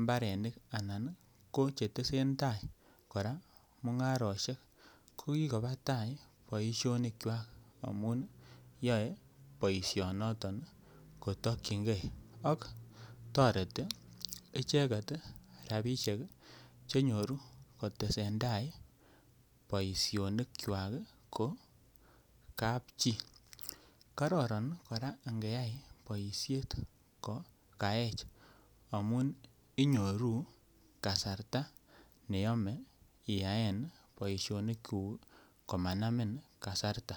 mbarenik anan ii ko che tesentai mungaroshek ko kikoba taa boisionikwak amun yoe boision noton ii kotokyigee ak toreti icheget ii rabishek ii che nyoru kotesen tai boisionikwak ko kapchi kororon koraa ange yay boishet ko kaech amun inyoru kasarta ne yome iyaen boisionik ngung komanamin kasarta